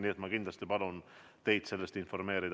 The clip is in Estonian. Nii et ma kindlasti palun teid sellest informeerida.